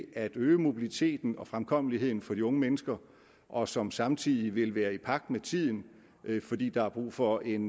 at øge mobiliteten og fremkommeligheden for de unge mennesker og som samtidig vil være i pagt med tiden fordi der er brug for en